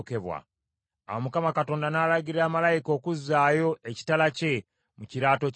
Awo Mukama Katonda n’alagira malayika okuzaayo ekitala kye mu kiraato kyakyo.